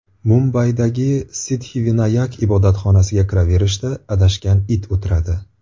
Mumbaydagi Siddxivinayak ibodatxonasiga kiraverishda adashgan it o‘tiradi.